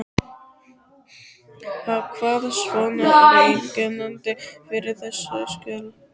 Hvað svona er einkennandi fyrir þessi skjöl?